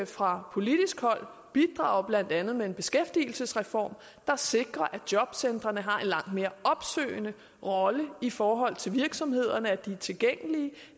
fra politisk hold bidrage blandt andet med en beskæftigelsesreform der sikrer at jobcentrene har en langt mere opsøgende rolle i forhold til virksomhederne at de er tilgængelige